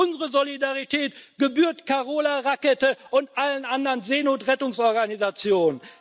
Aber unsere Solidarität gebührt Carola Rackete und allen anderen Seenotrettungsorganisationen.